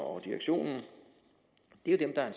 og direktionen jo er dem der er